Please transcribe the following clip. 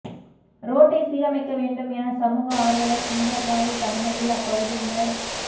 ரோட்டை சீரமைக்க வேண்டும் என சமூக ஆர்வலர் சுந்தரராஜ் தலைமையில் அப்பகுதியினர்